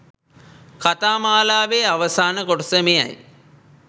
කතා මාලාවේ අවසාන කොටස මෙයයි.